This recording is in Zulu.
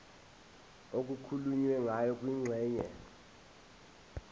okukhulunywe ngayo kwingxenye